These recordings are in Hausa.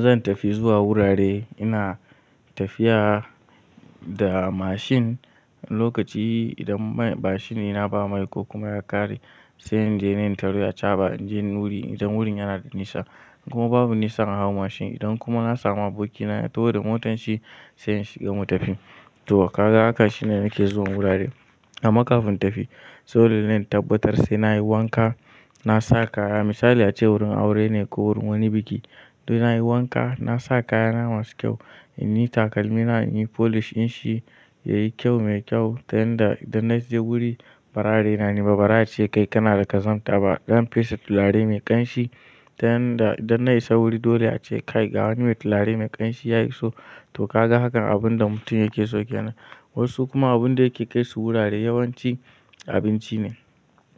Zan tafi zuwa wurare, ina tafiya da mashin. Lokaci idan mashi dina ba mai ko kuma ya ƙare, sai in je ne in tari a caba in je wanu wuri idan wurin yana da nisa. Kuma babu nisan a hau mashin idan kuma na samu abokina ya tahi da motanshi sai inshi ga mu tafi. Toh kaga haka shine nake zuwan wurare. Amma kafin tafi, sau da na yi tabbatar sai na yi wanka, na sa kaya. Misali a ce wurin aure ne ko wurin wani biki, to ina yi wanka, na sa kaya na masu kyau, in yi takalmina, in yi polish din shi ya yi kyau mai kyau. Ta yanda idan na je guri, bara are na niba bazace, "Kai kana da kazanta ba, dan fesa tulare mai ƙanshi." Ta yanda idan na isa wuri dole ya ce, "Kai ga wani mai tulare mai ƙanshi ya iso." To kaga hakan abun da mutum yake so ke nan. Wasu kuma abin da yake kai su wurare yawanci abinci ne.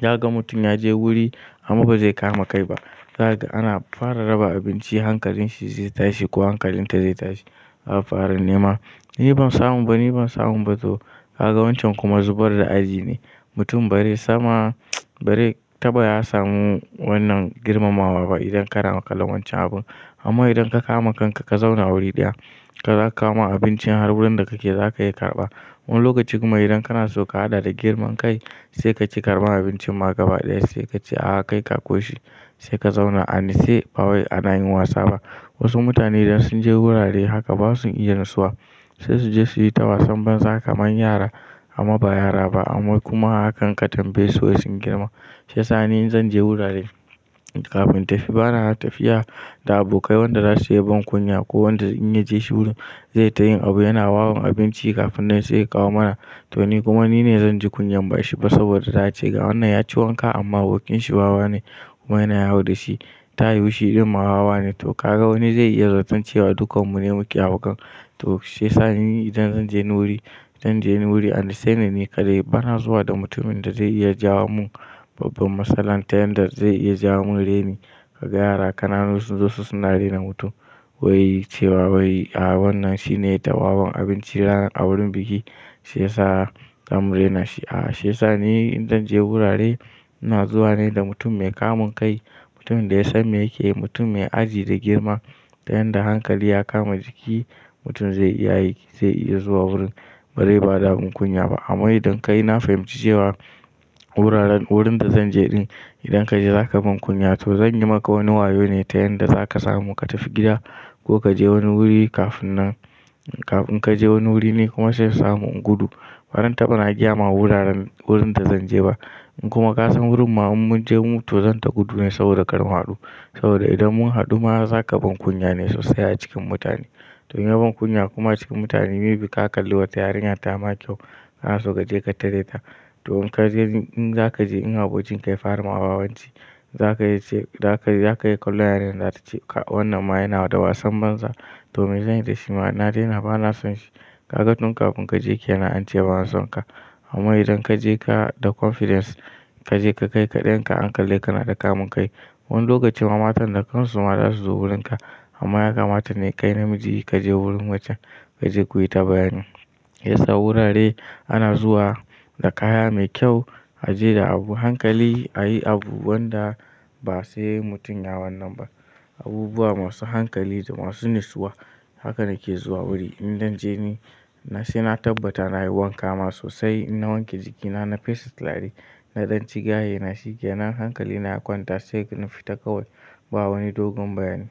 Za ga mutum ya je wuri amma ba zai kama kai ba. Kaga ana fara raba abinci hankalin shi zai tashi ko hankalin ta zai tashi za a fara nema. Ni ban samu ba, ni ban samu ba to kaga wancan kuma zubar da aji ne. Mutum bare sama bare ta ba ya samu wannan girmamawa ba idan kana kallon wancan abun. Amma idan ka kama kanka ka zauna wuri ɗaya, ka kama abincin har wurin da kake za ka iya karɓa. Wani lokaci kuma idan kana so ka haɗa da girman kai, sai ka ce karɓa abincin ma gaba ɗaya sai ka ce, "A'a kai ka ko shi." Sai ka zauna ani se ba wai ana yin wasa ba. Wasu mutane idan sun je wurare haka ba sun iya nasuwa. Sai su je su yi tawasan banza kaman yara amma ba yara ba. Amma kuma hakan ka tambayesu wai sun girma. Sai sani in zan je wurare, kafin tafi bana tafiya da abokai wanda za su iya ban kunya ko wanda in ya je shi wurin zai ta yin abu yana wawon abinci kafin nan sai ya kawo mana. To ni kuma ni ne zan ji kunya ban shi ba saboda za ce ga wannan ya ci wanka amma abokin shi wawa ne kuma ina yawo da shi. Ta yi wushi ɗin ma wawa ne to kaga wani zai iya zaton cewa dukan mu ne muke hau kan. To shi sani idan zan je wanu wuri, zan je wani wuri ani se ne ni kadai bana zuwa da mutumin da zai iya jawo mun babban matsala ta yanda zai iya jawo mun reni. Kaga yara kanana su sunzo suna rena mutum wai cewa wai a wannan shine yai ta wawan abinci ranar a wurin biki shi yasa zamu rena shi. A'a shi yasani in zan je wurare ina zuwa ne da mutum mai kamun kai, mutum da ya san me yake yi, mutum mai aji da girma ta yanda hankali ya kama jiki. Mutum zai iya yi zai iya zuwa wurin bare ba da abin kunya ba. Amma idan kai na fahimci cewa wuraren wurin da zan je ɗin idan ka je za ka ban kunya to zan yi maka wani wayo ne ta yanda za ka samu ka tafi gida ko ka je wani wuri kafin nan kafin ka je wani wuri ni kuma sai in samu in gudu. Bazanta ba giyama wuraren wurin da zan je ba. In kuma ka san wurin ma in mun je mu to zan ta gudu ne saboda kar mu haɗu. Saboda idan mun haɗu ma za ka ban kunya ne sosai a cikin mutane. To in ya ban kunya kuma cikin mutane mebi ka kalli wata yarinya ta ma kyau kana so ka je ka tare da. To in ka je in za ka je in abokin ka ya fara ma wawanci za ka iya ce za ka za ka iya kallon yarinyar za ta ce wannan ma yana da wasan banza to me zan yi da shi ma na dena ba na son shi. Kaga tun kafin ka je ke nan an ce ba a son ka. Amma idan ka je ka da confidence ka je ka kai kaɗan ka an kal le ka anga kana da kamun kai. Wani lokacin ma matan da kansu ma za su zo wurin ka. Amma ya kamata ne kai namiji ka je wurin macen ka je ku yi ta bayani. Sai sa wurare ana zuwa da kaya mai kyau, a je da abu hankali, a yi abu wanda ba sai mutum yawannan ba. Abubuwa masu hankali da masu nasuwa. Haka nake zuwa wuri. In zan je ni sai na tabbata na yi wanka ma sosai, na wanke jikina, na fesa tulare, na ɗan ci ganye, na shike nan hankali na ya kwanta sai nafi ta kawai ba wani dogon bayani.